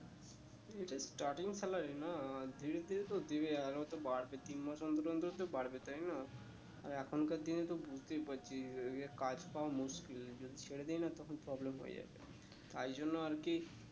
এইটা starting salary না ধীরে ধীরে তো দিবে আরো তো বাড়বে তিন মাস অন্তর অন্তর তো বাড়বে তাই না আর এখনকার দিনে তো বুঝতেই পারছিস ইয়ে কাজ পাওয়া মুশকিল যদি ছেরে দি না তখন problem হয়ে যাবে তাই জন্য আর কি